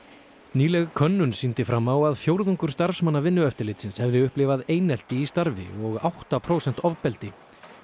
nýleg könnun sýndi fram á að fjórðungur starfsmanna Vinnueftirlitsins hefði upplifað einelti í starfi og átta prósent ofbeldi